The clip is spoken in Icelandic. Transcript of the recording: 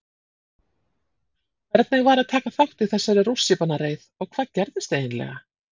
Hvernig var að taka þátt í þessari rússíbanareið og hvað gerðist eiginlega?